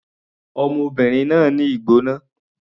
Ọmọbìnrin náà ní ìgbóná.